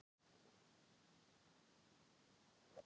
Fyrir utan húsið var ekki sála á ferli.